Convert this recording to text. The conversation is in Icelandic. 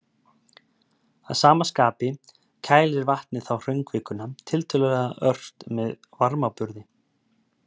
Að sama skapi kælir vatnið þá hraunkvikuna tiltölulega ört með varmaburði.